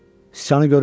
Sıçanı görüm.